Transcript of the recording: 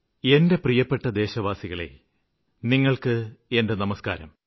എന്റെ പ്രിയപ്പെട്ട ദേശവാസികളേ നിങ്ങള്ക്ക് എന്റെ നമസ്ക്കാരം